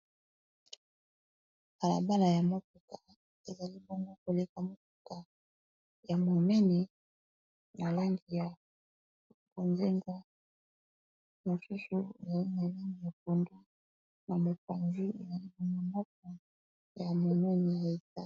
Balabala ya motuka ezali bongo koleka motuka ya momene na langi ya bozinga, mosusu yamilai ya pondu na mopanzi ndako ya momene Penza.